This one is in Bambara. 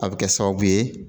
A bɛ kɛ sababu ye